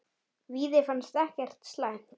Víði fannst það ekkert slæmt.